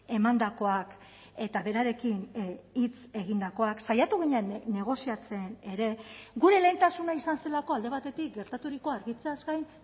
emandakoak eta berarekin hitz egindakoak saiatu ginen negoziatzen ere gure lehentasuna izan zelako alde batetik gertaturikoa argitzeaz gain